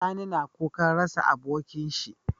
Sani na kukan rasa abokin shi